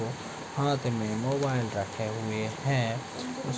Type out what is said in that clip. हाथ में मोबाइल रखे हुए हैं। उस --